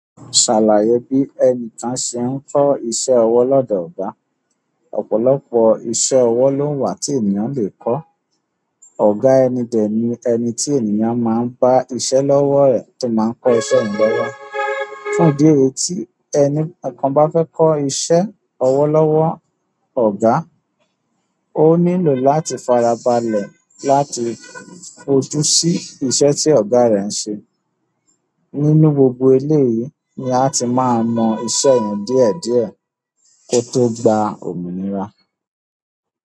Ṣàlàyé bí ẹnìkan ṣe ń kọ́ iṣẹ́ ọwọ́ lọ́dọ̀ ọ̀gá. Ọ̀pọ̀lọpọ̀ iṣẹ́ ọwọ́ ló wà tí ènìyàn le kọ́. Ọ̀gá ẹni dẹ̀ ní ẹni tí ènìyàn máa ń bá a iṣẹ́ lọ́wọ́ rẹ̀ tí máa ń kọ́ iṣẹ́ yẹn lọ́wọ́. Fún ìdí èyí tí ẹni kankan bá fẹ́ kọ́ iṣẹ́ ọwọ́ lọ́wọ́ ọ̀gá, ó nílò láti fara balẹ̀ láti fojú sí iṣẹ́ tí ọ̀gá rẹ̀ ń ṣe. Nínú gbogbo eléyìí ni a ti máa mọ iṣẹ́ yẹn díẹ̀ díẹ̀ kó tó gba òmìnira.